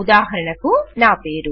ఉదాహరణకు నా పేరు